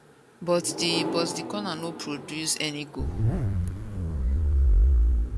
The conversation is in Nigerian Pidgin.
but di but di corner no produce any goal